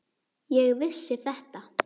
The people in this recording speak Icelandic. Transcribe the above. Ég vissi þetta!